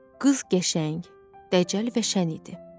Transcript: Qız qəşəng, dəcəl və şən idi.